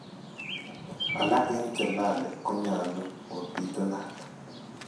Alak en chelali konyalu ko bitunat.